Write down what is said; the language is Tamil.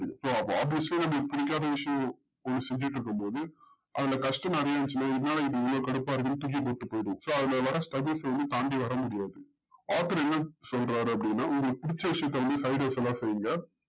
so அப்போ obviously நமக்கு புடிக்காத விஷயம் செஞ்சுட்டு இருக்கும் போது அதுல first நாள்லயே என்னடா இது இவ்ளோ கடுப்பா இருக்குனு தூக்கி போட்டு போய்டுவோம் so அதுல வர straggules எதையுமே தாண்டி வர முடியாது author என்னான்னு சொல்றாரு அப்டின்னா உங்களுக்கு புடிச்ச விஷயத்த வந்து செய்ங்க